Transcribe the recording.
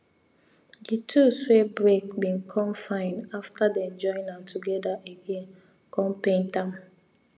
the tool wey break bin come fine after them join am together again come paint am